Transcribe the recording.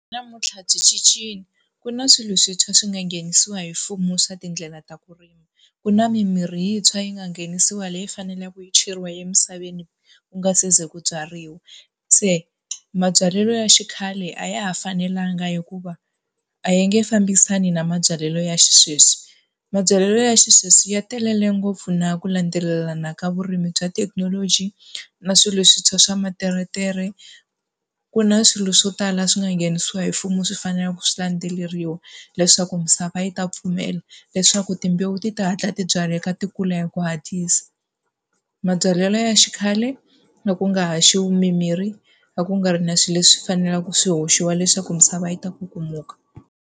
Namuntlha byi cincile. Ku na swilo swintshwa swi nga nghenisiwa hi mfumo swa tindlela ta ku rima. Ku na mimirhi yintshwa yi nga nghenisiwa leyi faneleke yi cheriwa emisaveni ku nga se ze ku byariwa. Se mabyalelo ya xikhale a ya ha fanelanga hikuva a ya nge fambisani na mabyalelo ya xisweswi. Mabyalelo ya xisweswi ya telele ngopfu na ku landzelelana ka vurimi bya thekinoloji, na swilo swintshwa swa materetere. Ku na swilo swo tala swi nga nghenisiwa hi mfumo swi faneleke ku swi landzeleriwa leswaku misava yi ta pfumela, leswaku timbewu ti ta hatla tibyalela ti kula hi ku hatlisa. Mabyalelo ya xikhale a ku nga haxiwi mimirhi, ku nga ri na swilo leswi faneleke swi haxiwa leswaku misava yi ta kukumuka.